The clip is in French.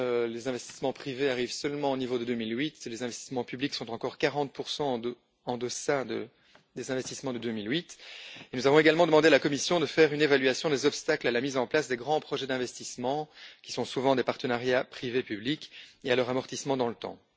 Les investissements privés arrivent seulement au niveau de 2008, les investissements publics sont encore 40 en deçà des investissements de 2008. Nous avons également demandé à la Commission de faire une évaluation des obstacles à la mise en place des grands projets d'investissement, qui sont souvent des partenariats public privé, et à leur amortissement dans le temps.